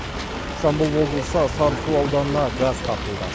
жамбыл облысы сарысу ауданына газ тартылды